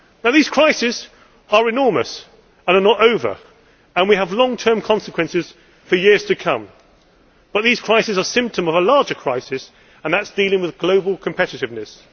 These crises are enormous and are not over and we will have long term consequences for years to come, but these crises are a symptom of a larger crisis, and that is dealing with global competitiveness.